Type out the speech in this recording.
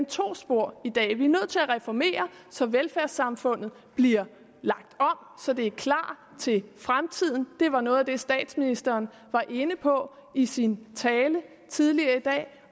to spor i dag vi er nødt til at reformere så velfærdssamfundet bliver lagt om så det er klar til fremtiden det var noget af det statsministeren var inde på i sin tale tidligere i dag